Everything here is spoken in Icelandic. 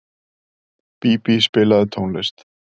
Bíbí, spilaðu tónlist.